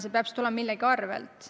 See peab siis tulema millegi arvel.